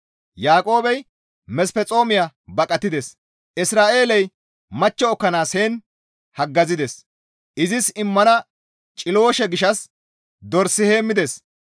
Yaaqoobey Mesphexoomiya baqatides; Isra7eeley machcho ekkanaas heen haggazides; izis immana ciloosha gishshas dors heemmides.